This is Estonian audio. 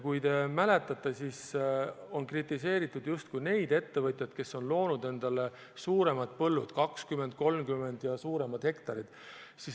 Kui te mäletate, on kritiseeritud justkui neid ettevõtjaid, kes on loonud endale suuremad põllud, 20, 30 hektarit ja suuremad.